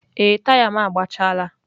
Ee, taya m agbachaala.